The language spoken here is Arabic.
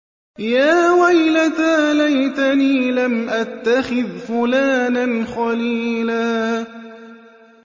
يَا وَيْلَتَىٰ لَيْتَنِي لَمْ أَتَّخِذْ فُلَانًا خَلِيلًا